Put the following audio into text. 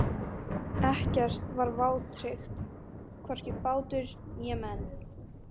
Ekkert var vátryggt, hvorki bátur né menn.